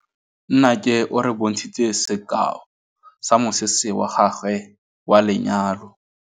Nnake o re bontshitse sekaô sa mosese wa gagwe wa lenyalo.